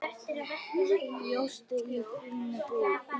Bjóst í þinni íbúð.